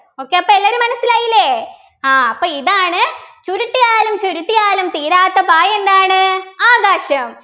okay അപ്പൊ എല്ലാരും മനസ്സിലായില്ലേ ആഹ് അപ്പൊ ഇതാണ് ചുരുട്ടിയാലും ചുരുട്ടിയാലും തീരാത്ത പായ എന്താണ് ആകാശം